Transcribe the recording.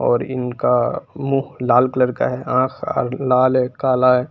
और इनका मुंह लाल कलर का है आंख लाल है काला है।